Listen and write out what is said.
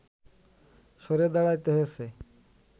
সরে দাঁড়াতে হয়েছে